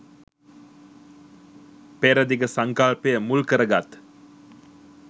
පෙර දිග සංකල්පය මුල් කරගත්